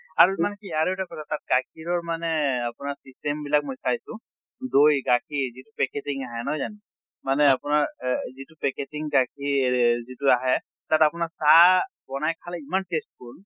আৰু মানে কি আৰু এটা কথা তাত গাখীৰৰ মানে আপোনাৰ system বিলাক মই চাইছো দৈ গাখীৰ যিটো packaging আহে নহয় জানো মানে আপোনাৰ এহ যিটো packaging গাখীৰ যিটো আহে তাত আপোনাৰ চাহ বনাই খালে ইমান tasteful